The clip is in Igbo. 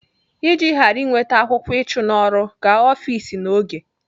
Iji ghara inweta akwụkwọ ịchụ n'ọrụ, gaa ọfiks n'oge.